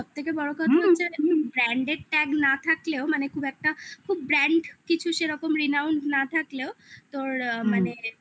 branded tag না থাকলেও মানে খুব একটা খুব brand কিছু সেরকম renowned না থাকলেও তোর আ মানে